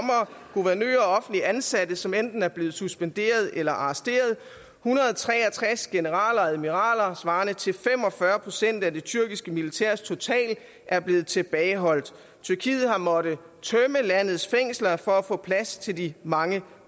guvernører og offentligt ansatte som enten er blevet suspenderet eller arresteret hundrede og tre og tres generaler og admiraler svarende til fem og fyrre procent af det tyrkiske militærs total er blevet tilbageholdt tyrkiet har måttet tømme landets fængsler for at få plads til de mange